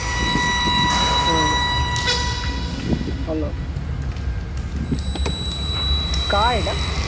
হ্যাঁ hello কার এটা?